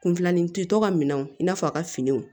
Kunfilanin tɛ tɔ ka minɛnw i n'a fɔ a ka finiw